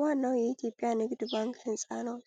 ዋናው የኢትዮጵያ ንግድ ባንክ ሕንፃ ነው።